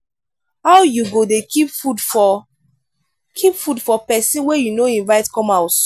how you go dey keep food for keep food for pesin wey you no invite come house.